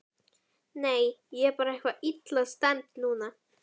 Nei, ég er bara eitthvað illa stemmd núna.